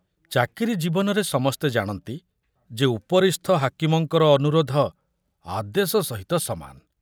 ଚାକିରି ଜୀବନରେ ସମସ୍ତେ ଜାଣନ୍ତି ଯେ ଉପରିସ୍ଥ ହାକିମଙ୍କର ଅନୁରୋଧ ଆଦେଶ ସହିତ ସମାନ।